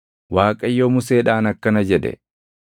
Waaqayyo Museedhaan akkana jedhe;